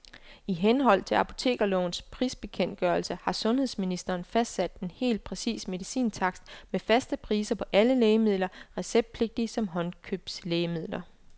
I henhold til apotekerlovens prisbekendtgørelse har sundhedsministeren fastsat en helt præcis medicintakst med faste priser på alle lægemidler, receptpligtige som håndkøbslægemidler.